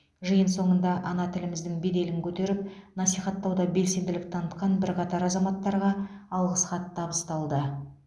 жиын соңында ана тіліміздің беделін көтеріп насихаттауда белсенділік танытқан бірқатар азаматтарға алғыс хат табысталды